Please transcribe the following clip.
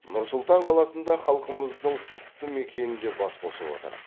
нұр сұлтан қаласында халқымыздың құтты мекенінде бас қосып отыр